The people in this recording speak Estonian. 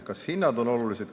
Kas hinnad on olulised?